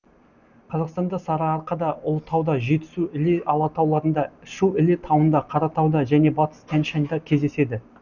қазақстанда сарыарқада ұлытауда жетісу іле алатауларында шу іле тауында қаратауда және батыс тянь шаньда кездеседі